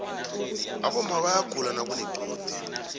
aboma bayaguda nakunequde